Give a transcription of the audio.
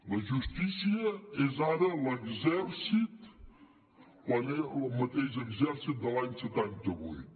la justícia és ara l’exèrcit el mateix exèrcit de l’any setanta vuit